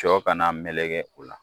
Jɔ kana mekele o la